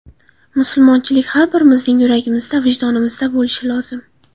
Musulmonchilik har birimizning yuragimizda, vijdonimizda bo‘lishi lozim.